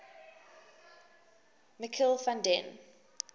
michiel van den